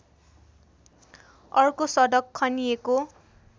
अर्को सडक खनिएको